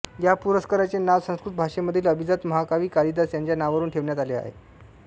या पुरस्काराचे नाव संस्कृत भाषेमधील अभिजात महाकवी कालिदास याच्या नावावरून ठेवण्यात आले आहे